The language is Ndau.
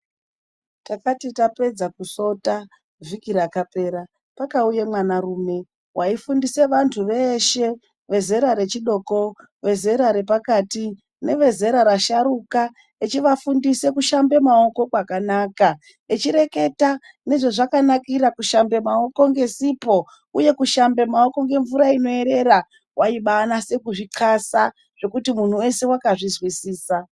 Takati tapedza kusota vhiki rakapera, pakauye mwanarume waifundise vantu veshe, vezera rechidoko; vezera repakati; nevezera rasharuka. Echivafundise kushambe maoko kwakanaka, echireketa nezvezvakanakira kushambe maoko ngesipo, uye kushambe maoko ngemvura inoerera. Waibaanase kuzvixasa zvekuti munhu wese wakazvizwisisa.